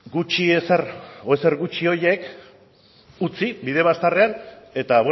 gutxi ezer edo ezer gutxi horiek utzi bide bazterrean eta